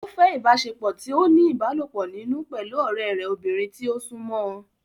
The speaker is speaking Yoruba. Ó fẹ́ ìbáṣepọ̀ tí ó ní ìbálòpọ̀ nínú pẹ̀lú ọ̀rẹ́ rẹ̀ obìnrin tí ó súnmọ́ ọn